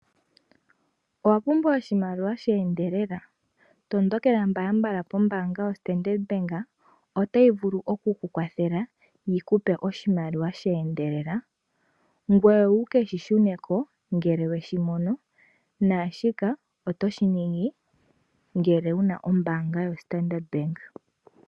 Owa pumbwa oshimaliwa sheendelela? Tondokela mbalambala pombaanga yoStandard Bank otayi vulu oku kukwathela yi kupe oshimaliwa sheendelela. Ngoye wuke shishuneko ngele weshimono naashika otoshi ningi ngele wuna ombaanga yoStandard Bank.